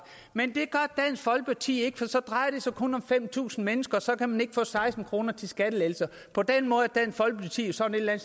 men det gør folkeparti ikke for så drejer det sig kun om fem tusind mennesker og så kan man ikke få seksten kroner til skattelettelser på den måde er dansk folkeparti jo sådan et eller